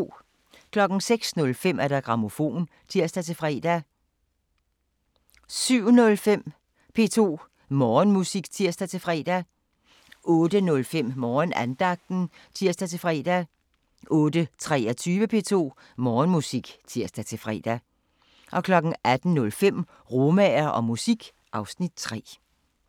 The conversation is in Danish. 06:05: Grammofon (tir-fre) 07:05: P2 Morgenmusik (tir-fre) 08:05: Morgenandagten (tir-fre) 08:23: P2 Morgenmusik (tir-fre) 18:05: Romaer og musik (Afs. 3)